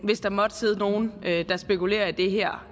hvis der måtte sidde nogen der spekulerer i det her